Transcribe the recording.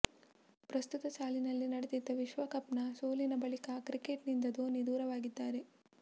ಪ್ರಸಕ್ತ ಸಾಲಿನಲ್ಲಿ ನಡೆದಿದ್ದ ವಿಶ್ವಕಪ್ ನ ಸೋಲಿನ ಬಳಿಕ ಕ್ರಿಕೆಟ್ ನಿಂದ ಧೋನಿ ದೂರವಾಗಿದ್ದಾರೆ